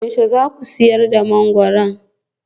Yaushe za ku sayar da mangwaro?